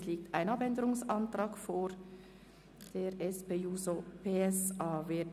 Es liegt ein Abänderungsantrag der SP-JUSO-PSA-Fraktion vor.